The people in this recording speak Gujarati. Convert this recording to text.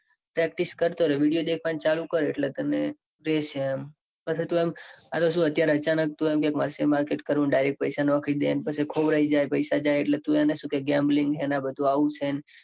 practice કરતો રહે. video દેખાવાનું ચાલુ કર એટલે રહેશે એમ પસી તું એમ આતો સુ અત્યરે તું અચાનક તું એમ કે મારે share market કરવું છે. ન direct પૈસા નાખી દેન પછી ખોવાઈ જાય. પૈસા જાય એટલે તું એને સુ કે gambling ને આ બધું આવું છે.